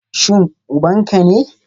Shin uban ka ne?